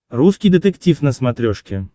русский детектив на смотрешке